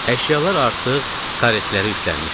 Əşyalar artıq karetlərə yüklənmişdi.